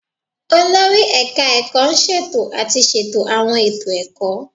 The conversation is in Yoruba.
Olórí Ẹ̀ka ṣètò àti ṣètò àwọn ètò ẹ̀kọ́